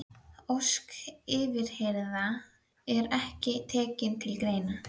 Ósk yfirheyrða er ekki tekin til greina.